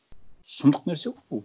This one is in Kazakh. сұмдық нәрсе ғой бұл